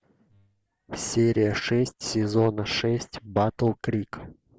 серия шесть сезона шесть батл крик